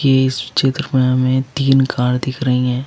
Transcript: इस चित्र में हमें तीन कार दिख रही हैं।